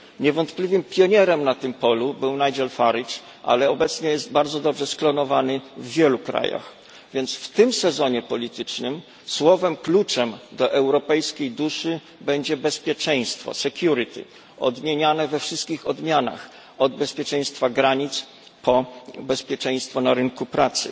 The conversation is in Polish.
Niewątpliwym pionierem na tym polu był Nigel Farage, ale obecnie jest bardzo dobrze sklonowany w wielu krajach, więc w tym sezonie politycznym słowem kluczem do europejskiej duszy będzie bezpieczeństwo odmieniane we wszystkich odmianach, od bezpieczeństwa granic po bezpieczeństwo na rynku pracy.